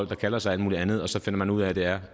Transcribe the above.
der kalder sig alt muligt andet og så finder man ud af at det er